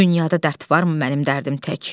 Dünyada dərd varmı mənim dərdim tək?